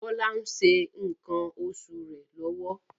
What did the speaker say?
Bola ń se nkan osu re lọwọ